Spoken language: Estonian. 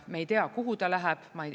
Me ei tea, kuhu ta läheb.